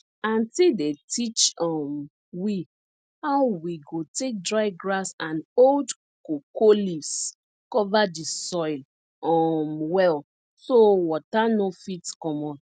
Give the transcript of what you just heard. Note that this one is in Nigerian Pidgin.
auntie dey teach um we how we go take dry grass and old cocoa leaves cover di soil um well so water no fit comot